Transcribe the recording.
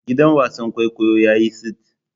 Gidan wasan kwaikwayo yayi tsit.